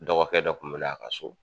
Dɔgɔkɛ dɔ kun mɛ na a ka so.